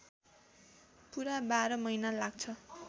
पुरा १२ महिना लाग्छ